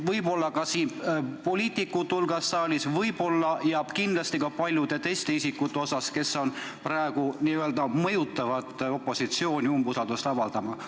Võib-olla on neid ka siin saalis poliitikute hulgas ja kindlasti on ka palju isikuid, kes praegu mõjutavad opositsiooni umbusaldust avaldama.